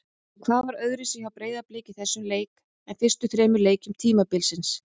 En hvað var öðruvísi hjá Breiðablik í þessum leik en fyrstu þremur leikjum tímabilsins?